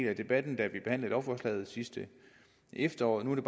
af debatten da vi behandlede lovforslaget sidste efterår nu er